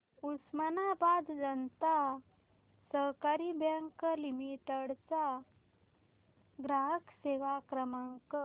उस्मानाबाद जनता सहकारी bank limited चा ग्राहक सेवा क्रमांक